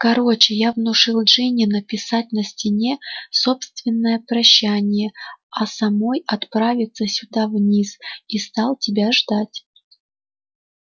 короче я внушил джинни написать на стене собственное прощание а самой отправиться сюда вниз и стал тебя ждать